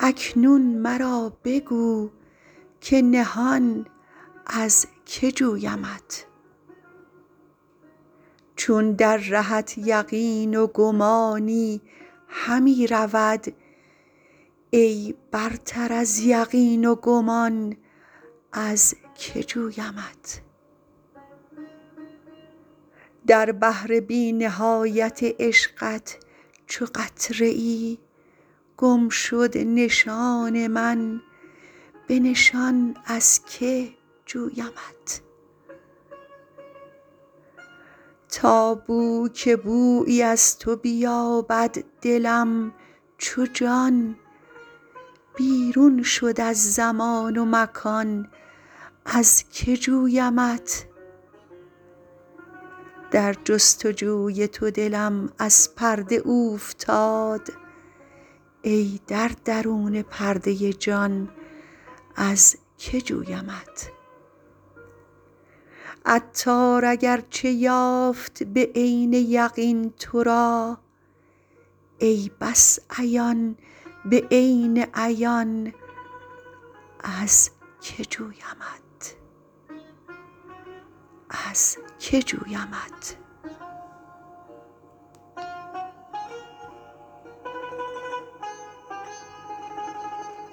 اکنون مرا بگو که نهان از که جویمت چون در رهت یقین و گمانی همی رود ای برتر از یقین و گمان از که جویمت در بحر بی نهایت عشقت چو قطره ای گم شد نشان من به نشان از که جویمت تا بو که بویی از تو بیابد دلم چو جان بیرون شد از زمان و مکان از که جویمت در جست و جوی تو دلم از پرده اوفتاد ای در درون پرده جان از که جویمت عطار اگرچه یافت به عین یقین تورا ای بس عیان به عین عیان از که جویمت